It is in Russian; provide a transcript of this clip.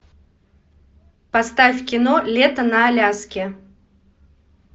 поставь кино лето на аляске